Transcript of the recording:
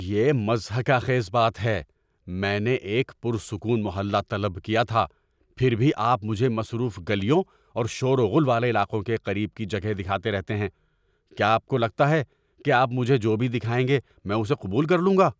یہ مضحکہ خیز بات ہے۔ میں نے ایک پرسکون محلہ طلب کیا تھا، پھر بھی آپ مجھے مصروف گلیوں اور شور و غل والے علاقوں کے قریب کی جگہیں دکھاتے رہتے ہیں۔ کیا آپ کو لگتا ہے کہ آپ مجھے جو بھی دکھائیں گے میں اسے قبول کر لوں گا؟